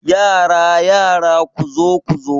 Yara yara, kuzo kuzo